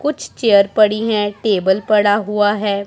कुछ चेयर पड़ी हैं टेबल पड़ा हुआ है।